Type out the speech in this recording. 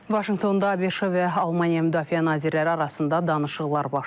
Vaşinqtonda ABŞ-ın və Almaniya müdafiə nazirləri arasında danışıqlar baş tutub.